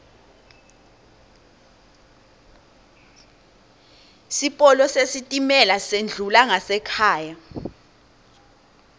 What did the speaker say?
sipolo sesitimela sendlula ngasekhaya